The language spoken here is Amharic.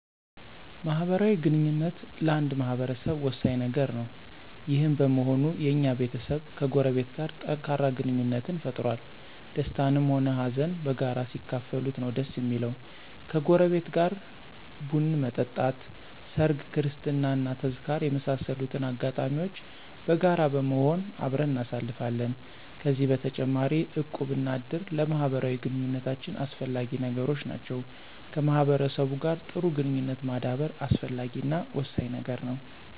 ማህበራዊ ግንኙነት ለአንድ ማህበረሰብ ወሳኝ ነገር ነው። ይህም በመሆኑ የኛም ቤተሰብ ከጎረቤት ጋር ጠንካራ ግንኙነትን ፈጥሮአል። ደስታንም ሆነ ሃዘን በጋራ ሲካፈሉት ነው ደስ እሚለው። ከጎረቤት ጋር ቡን መጠጣት፣ ሰርግ፣ ክርስትና እና ተዝካር የመሳሰሉትን አጋጣሚዎች በጋራ በመሆን አብረን እናሳልፋለን። ከዚህ በተጨማሪ እቁብ እና እድር ለማህበራዊ ግንኙነታችን አስፈላጊ ነገሮች ናቸው። ከማህበረሰቡ ጋር ጥሩ ግንኙነት ማዳበር አስፈላጊ እና ወሳኝ ነገር ነው።